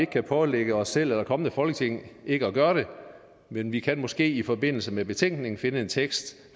kan pålægge os selv eller et kommende folketing ikke at gøre det men vi kan måske i forbindelse med betænkningen finde en tekst